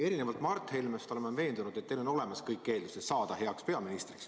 Erinevalt Mart Helmest olen ma veendunud, et teil on olemas kõik eeldused saada heaks peaministriks.